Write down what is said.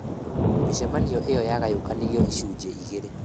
Mĩcemanio ĩyo yagayũkanirio icunjĩ igĩrĩ.